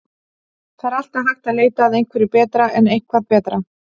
Það er alltaf hægt að leita að einhverju betra en er eitthvað betra?